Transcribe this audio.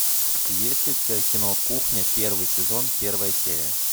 есть ли у тебя кино кухня первый сезон первая серия